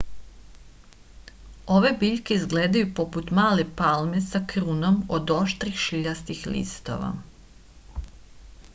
ove biljke izgledaju poput male palme sa krunom od oštrih šiljastih listova